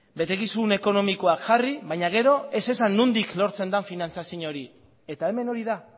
betekizun ekonomikoak jarri baina gero ez esan nondik lortzen den finantziazio hori eta hemen hori da